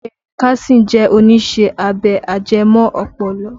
Ben Carson jẹ́ oníṣẹ́ abẹ ajẹmọ́ ọpọlọ